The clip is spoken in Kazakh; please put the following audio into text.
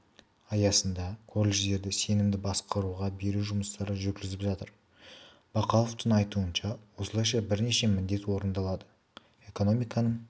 аясында колледждерді сенімді басқаруға беру жұмыстары жүргізіліп жатыр бақауовтың айтуынша осылайша бірнеше міндет орындалады экономиканың